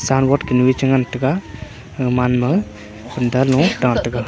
san board kunu eh che ngan taga gamanma funta lo tah taga.